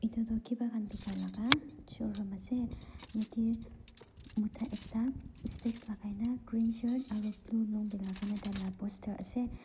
etu tu kibha khan biga laga showroom ase yatte mota ekta scres lagai na green shirt blue num dela kena poster ase.